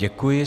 Děkuji.